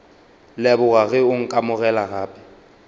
leboga ge o nkamogela gape